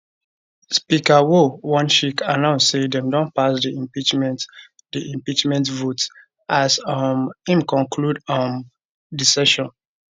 speaker woo wonshik announce say dem don pass di impeachment di impeachment vote as um im conclude um di session